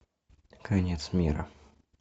конец мира